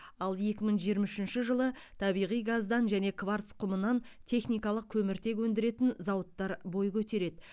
ал екі мың жиырма үшінші жылы табиғи газдан және кварц құмынан техникалық көміртек өндіретін зауыттар бой көтереді